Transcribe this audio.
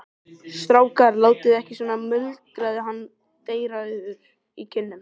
Strákar, látið ekki svona muldraði hann dreyrrauður í kinnum.